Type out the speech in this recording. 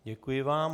Děkuji vám.